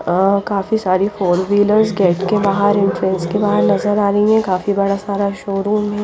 अह काफी सारी four wheelers gate के बाहर एंट्रेंस के बाहर नजर आ रही हैं काफी बड़ा सारा शोरूम है।